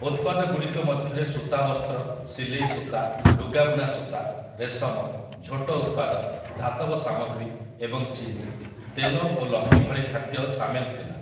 ଉତ୍ପାଦଗୁଡ଼ିକ ମଧ୍ୟରେ ସୂତା ବସ୍ତ୍ର, ସିଲେଇ ସୂତା, ଲୁଗାବୁଣା ସୂତା, ରେଶମ, ଝୋଟ ଉତ୍ପାଦ, ଧାତବ ସାମଗ୍ରୀ ଏବଂ ଚିନି, ତେଲ ଓ ଲହୁଣୀ ଭଳି ଖାଦ୍ୟ ସାମିଲ ଥିଲା ।